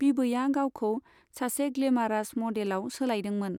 बिबैआ गावखौ सासे ग्लेमारास मडेलआव सोलायदोंमोन।